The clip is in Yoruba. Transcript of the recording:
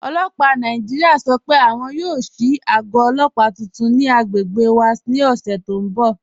Ọlọ́pà Nàìjíríà sọ́ pé àwọn yóò ṣíì àgọ̀ ọlọ́pà tuntun ni àgbègbè wà ni ọṣẹ̀ ti n bọ̀.